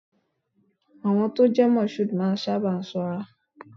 Àwọn tó ń jẹ́ Mashood máa ń sábà sanra.